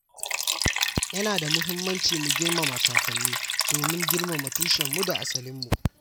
Yana da muhimmanci mu girmama kakanni domin girmama tushenmu da asalinmu.